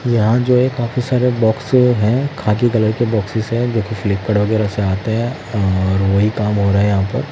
यहां जो है काफी सारे बॉक्स हैं खाकी कलर के बॉक्सेस है जो कि फ्लिपकार्ड वगैरह से आते हैं और वही काम हो रहा है यहां पर--